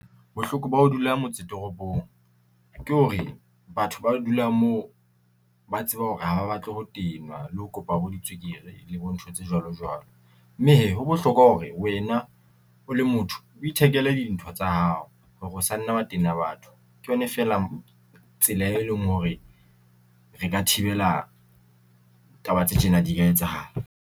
Bohloko ba ho dula motse toropong, ke hore batho ba dulang moo ba tseba hore ha ba batle ho tenwa le ho kopa bo ditswekere le bo ntho tse jwalo jwalo, mme hee ho bohlokwa hore wena o le motho, o ithekele dintho tsa hao hore o sa nna wa tena batho. Ke yona fela tsela e leng hore re ka thibela taba tse tjena di ka etsahala.